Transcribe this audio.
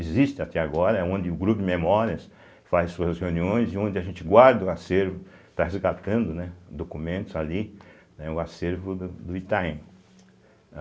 Existe até agora, é onde o grupo de memórias faz suas reuniões e onde a gente guarda o acervo, está resgatando, né, documentos ali, né, o acervo do Itaim.